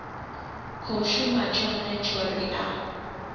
khou shuma tshone tshori a